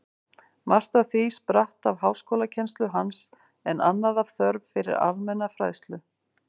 Margt af því spratt af háskólakennslu hans, en annað af þörf fyrir almenna fræðslu.